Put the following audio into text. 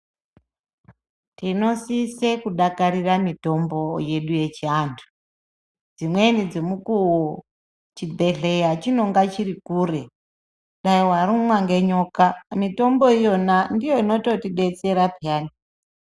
Tinosise kudakarira miyombo yedu yechiantu dzimweni dzemukuwo chibhedhleya chinenge chiri kure dai warumwa ngenyoka mitombo iyona ndiyo inoyotidetsera peyani.